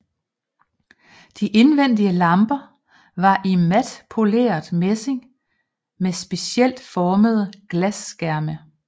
De indvendige lamper var i mat poleret messing med specielt formede glasskærme